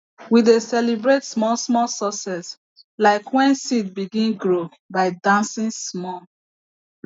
we dey celebrate smallsmall success like when seed begin grow by dancing small